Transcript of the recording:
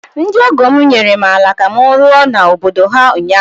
ndị ọgọ m nyere m ala ka m rụọ n’obodo ha ụnyahụ